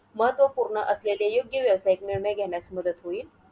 महत्वपूर्ण असलेले योग्य व्यावसायिक निर्णय घेण्यास मदत होईल.